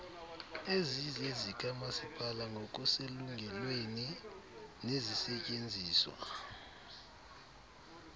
ezizezikamasipala ngokuselungelweni nezisetyenziswa